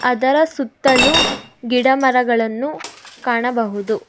ಅದರ ಸುತ್ತಲು ಗಿಡ ಮರಗಳನ್ನು ಕಾಣಬಹುದು.